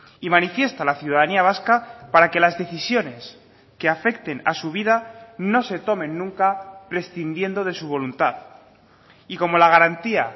y manifiesta la ciudadanía vasca para que las decisiones que afecten a su vida no se tomen nunca prescindiendo de su voluntad y como la garantía